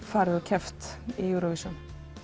farið og keppt í Eurovision